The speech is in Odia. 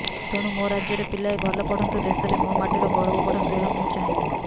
ତେଣୁ ମୋ ରାଜ୍ୟର ପିଲାଏ ଭଲ ପଢ଼ନ୍ତୁ ଦେଶରେ ମୋ ମାଟିର ଗୌରବ ବଢ଼ାନ୍ତୁ ଏହା ମୁଁ ଚାହେଁ